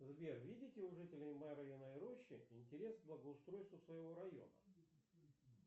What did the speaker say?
сбер видите у жителей марьиной рощи интерес к благоустройство своего района